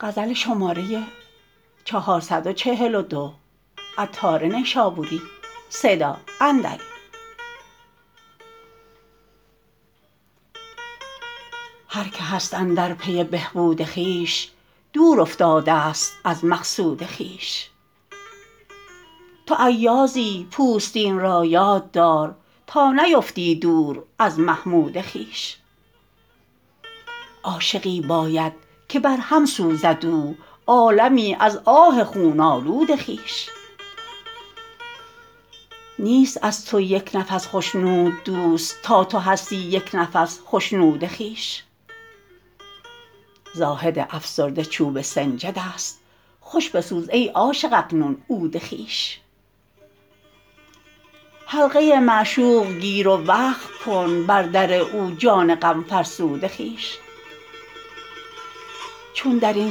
هر که هست اندر پی بهبود خویش دور افتادست از مقصود خویش تو ایازی پوستین را یاد دار تا نیفتی دور از محمود خویش عاشقی باید که بر هم سوزد او عالمی از آه خون آلود خویش نیست از تو یک نفس خشنود دوست تا تو هستی یک نفس خشنود خویش زاهد افسرده چوب سنجد است خوش بسوز ای عاشق اکنون عود خویش حلقه معشوق گیر و وقف کن بر در او جان غم فرسود خویش چون درین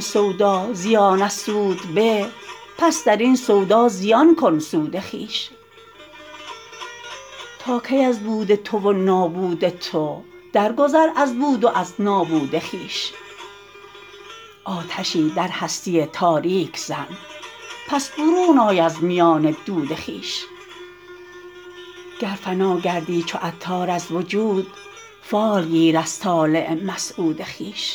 سودا زیان از سود به پس درین سودا زیان کن سود خویش تا کی از بود تو و نابود تو درگذر از بود و از نابود خویش آتشی در هستی تاریک زن پس برون آی از میان دود خویش گر فنا گردی چو عطار از وجود فال گیر از طالع مسعود خویش